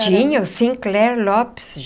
Tinha o Sinclair Lopes.